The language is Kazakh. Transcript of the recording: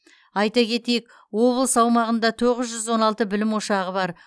айта кетейік облыс аумағында тоғыз жүз он алты білім ошағы бар